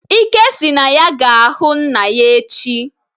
Ike si na ya ga-aga hu nna ya echi